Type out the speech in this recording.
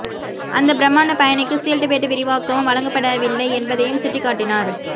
அந்த பிரமாண்ட பயணிக்கு சீட் பெல்ட் விரிவாக்கமும் வழங்கப்படவில்லை என்பதையும் சுட்டிக் காட்டினார்